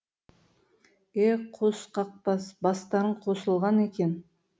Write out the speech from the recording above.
е қос қақбас бастарың қосылған екен